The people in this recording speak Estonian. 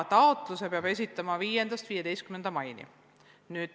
Taotlusi saab esitada 5.–15. maini.